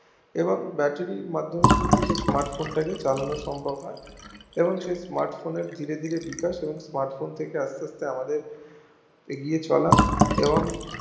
এবং batterie র মাধ্যমে কিন্তু smartphone টা চালানো সম্ভব হয় এবং সেই স্মার্ট ফোনের ধীরে ধীরে বিকাশে smartphone ব্যবহার করতে আমাদের এগিয়ে চলা এবং